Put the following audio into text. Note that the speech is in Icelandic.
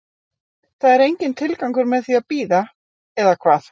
Það er enginn tilgangur með því að bíða, eða hvað?